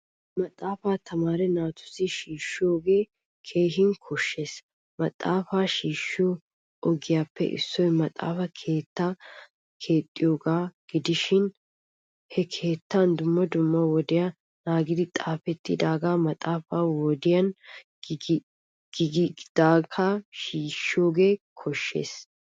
Maaxaafaa tamaare naatussi shiishiyoge keehin koshshees. Maxaafaa shiishiyo ogiyappe issoy maxaafaa keetta keexiyoga gidishin he keettan dumma dumma wodiya naagidi xaafettidaga mata wodiyan giigidagetta shiishiyoga koshshees.